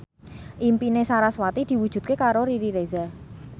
impine sarasvati diwujudke karo Riri Reza